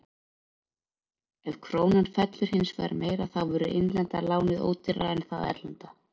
Ef krónan fellur hins vegar meira þá verður innlenda lánið ódýrara en það erlenda.